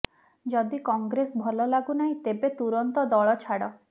ଯଦି କଂଗ୍ରେସ ଭଲ ଲାଗୁନାହିଁ ତେବେ ତୁରନ୍ତ ଦଳ ଛାଡ